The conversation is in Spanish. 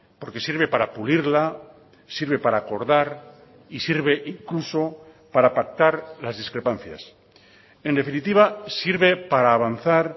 porque sirve para pulirla sirve para acordar y sirve incluso para pactar las discrepancias en definitiva sirve para avanzar